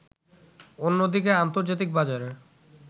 অন্যদিকে আন্তর্জাতিক বাজারে